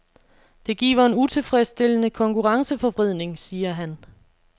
Det giver en utilfredsstillende konkurrenceforvridning, siger han.